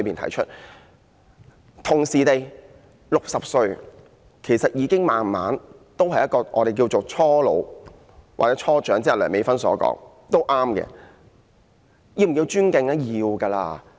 同時 ，60 歲其實已踏入我們所謂的"初老"，又或是梁美芬議員所說的"初長"，這個也對。